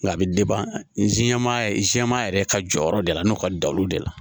Nka a bɛ n siɲɛma yɛrɛ jɛman yɛrɛ ka jɔyɔrɔ de la n'o ka dalu de la